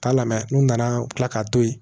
Taa lamɛn n'u nana u bi kila k'a to ye